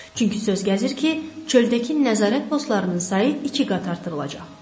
Çünki söz gəzir ki, çöldəki nəzarət postlarının sayı iki qat artırılacaq.